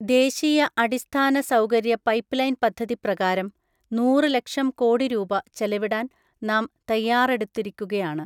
ദേശീയ അടിസ്ഥാനസൗകര്യ പൈപ്പ്ലൈൻ പദ്ധതി പ്രകാരം നൂറ് ലക്ഷം കോടി രൂപ ചെലവിടാൻ നാം തയ്യാറെടുത്തിരിക്കുകയാണ്.